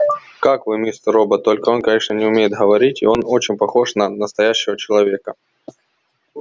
как вы мистер робот только он конечно не умеет говорить и он очень похож на настоящего человека